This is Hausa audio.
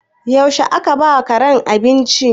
Yaushe aka ba wa karen abinci?